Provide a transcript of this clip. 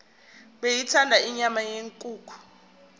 beyithanda inyama yenkukhu